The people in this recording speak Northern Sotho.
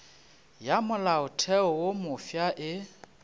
ya molaotheo wo mofsa e